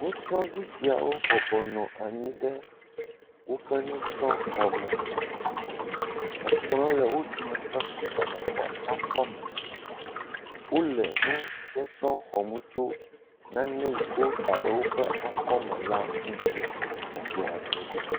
Nusrɔ̃vi siawo bɔbɔnɔ nyi ɖe woƒe nusrɔ̃xɔme. Ekplɔ le wo dometɔ ɖe sia ɖe ƒe akɔme. Wo le nu sɔsrɔ̃ xɔm tso nane yi ke woda ɖe woƒe akɔme la ŋuti le kplɔ dzi.